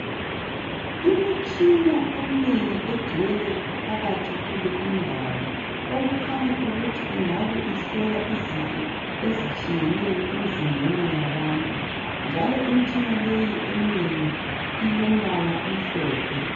Imitshina eminengi egcwele phakathi kule indawo okukhanya ukuthi ingabe ihlola izifo ezitshiyeneyo emzimbeni yabantu. Njalo imitshina leyi emnengi ilombala omhlophe.